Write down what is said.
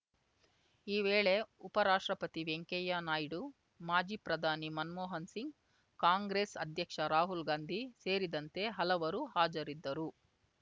ಈ ವೇಳೆ ಉಪರಾಷ್ಟ್ರಪತಿ ವೆಂಕಯ್ಯ ನಾಯ್ಡು ಮಾಜಿ ಪ್ರಧಾನಿ ಮನ್ಮೋಹನ ಸಿಂಗ್‌ ಕಾಂಗ್ರೆಸ್‌ ಅಧ್ಯಕ್ಷ ರಾಹುಲ್‌ ಗಾಂಧಿ ಸೇರಿದಂತೆ ಹಲವರು ಹಾಜರಿದ್ದರು